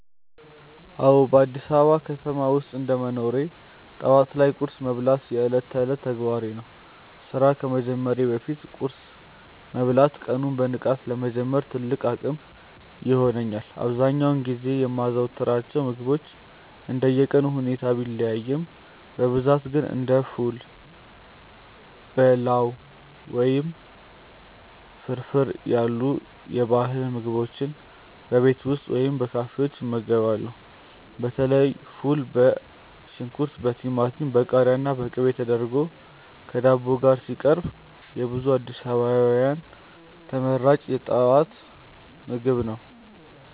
አዎ፣ በአዲስ አበባ ከተማ ውስጥ እንደ መኖሬ ጠዋት ላይ ቁርስ መብላት የዕለት ተዕለት ተግባሬ ነው። ስራ ከመጀመሬ በፊት ቁርስ መብላት ቀኑን በንቃት ለመጀመር ትልቅ አቅም ይሆነኛል። አብዛኛውን ጊዜ የማዘወትራቸው ምግቦች እንደየቀኑ ሁኔታ ቢለያዩም፣ በብዛት ግን እንደ ፉል፣ በላው ወይም ፍርፍር ያሉ የባህል ምግቦችን በቤት ውስጥ ወይም በካፌዎች እመገባለሁ። በተለይ ፉል በሽንኩርት፣ በቲማቲም፣ በቃሪያና በቅቤ ተደርጎ ከዳቦ ጋር ሲቀርብ የብዙ አዲስ አበባውያን ተመራጭ የጠዋት ምግብ ነው።